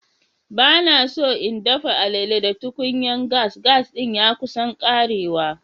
Ba na so n dafa alele da tukunyan gas. Gas din ya kusan karewa.